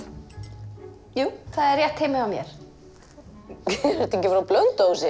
jú það er rétt heima hjá mér ertu ekki frá Blönduósi